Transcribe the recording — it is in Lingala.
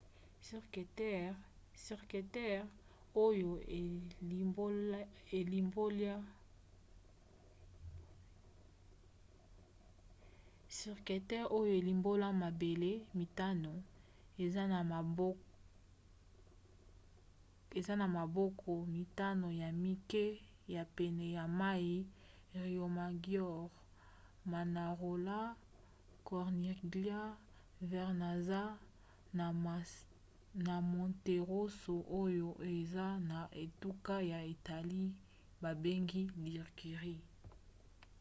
cinque terre oyo elimbolia mabele mitano eza na bamboka mitano ya mike ya pene ya mai riomaggiore manarola corniglia vernazza na monterosso oyo eza na etuka ya italie babengi ligurie